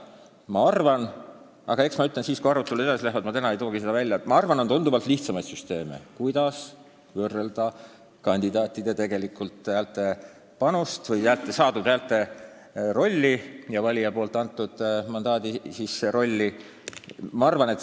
Ma arvan, et on tunduvalt lihtsamaid süsteeme, kuidas võrrelda kandidaatide häälte panust või saadud häälte rolli ja valija antud mandaadi rolli.